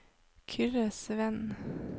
Kyrre Sveen